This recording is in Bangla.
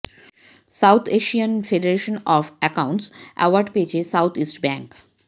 south Asian Federation of Accountants award পেয়েছে সাউথইস্ট ব্যাংক